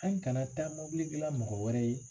An kana taa mobili dilan mɔgɔ wɛrɛ ye